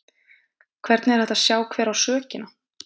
Hvernig er hægt að sjá hver á sökina?